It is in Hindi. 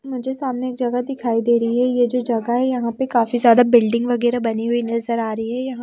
मुझे सामने एक जगह दिखाई दे रही है यह जो जगह है यहां पर काफी ज्यादा बिल्डिंग वगैरह बनी हुई नजर आ रही है यहाँ--